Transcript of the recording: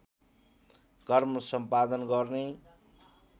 कर्म सम्पादन गर्ने